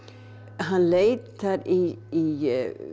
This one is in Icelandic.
hann leitar í